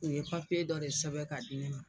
U ye dɔ de sɛbɛn k'a di n ma.